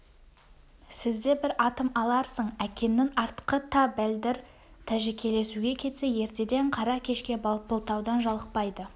сізде бір атым аларсың әкеңнің артқы та бәлдір тәжікелесуге кетсе ертеден қара кешке балпылдаудан жалықпайды